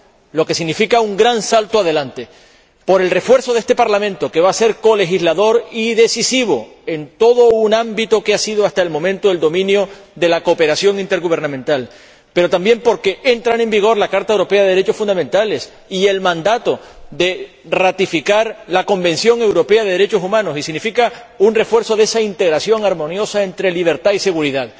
lo que significa un gran salto adelante por el refuerzo de este Parlamento, que va a ser colegislador y decisivo en todo un ámbito que ha sido hasta el momento el dominio de la cooperación intergubernamental, pero también porque entran en vigor la Carta Europea de los Derechos Fundamentales y el mandato de ratificar el Convenio Europeo de los Derechos Humanos, y significa un refuerzo de esa interacción armoniosa entre libertad y seguridad.